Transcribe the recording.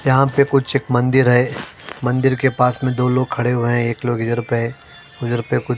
यहां पे कुछ एक मंदिर है । मंदिर के पास में दो लोग खड़े हुए हैं एक लोग इधर पे है उधर पे कुछ--